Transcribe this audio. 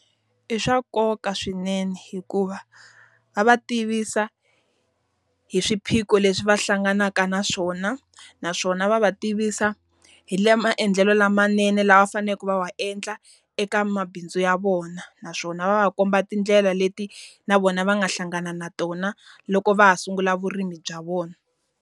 I swa nkoka swinene hikuva va va tivisa hi swiphiqo leswi va hlanganaka na swona, naswona va va tivisa hi maendlelo lamanene lava faneleke va wa endla eka mabindzu ya vona. Naswona va va komba tindlela leti na vona va nga hlangana na tona, loko va ha sungula vurimi bya vona.